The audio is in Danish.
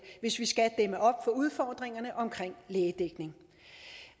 hvis vi skal dæmme op for udfordringerne omkring lægedækning